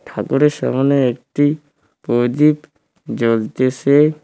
ঠাকুরের সামোনে একটি প্রদীপ জ্বলতেসে।